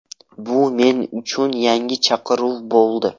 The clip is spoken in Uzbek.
Bu men uchun yangi chaqiruv bo‘ldi.